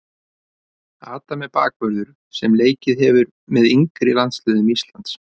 Adam er bakvörður sem leikið hefur með yngri landsliðum Íslands.